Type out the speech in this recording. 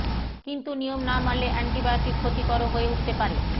কিন্তু নিয়ম না মানলে অ্যান্টিবায়োটিক ক্ষতিকরও হয়ে উঠতে পারে